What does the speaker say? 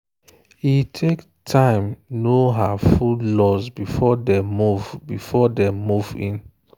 e take time know her food laws before dem move before dem move in.